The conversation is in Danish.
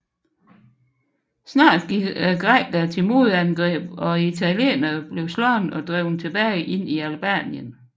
Snart gik grækerne til modangreb og italienerne blev slået og drevet tilbage ind i Albanien